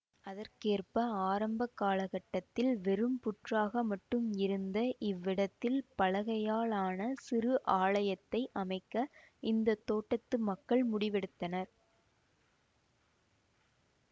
அதற்கேற்ப ஆரம்ப கால கட்டத்தில் வெறும் புற்றாக மட்டும் இருந்த இவ்விடத்தில் பலகையால் ஆன சிறு ஆலயத்தை அமைக்க இந்த தோட்டத்து மக்கள் முடிவெடுத்தனர்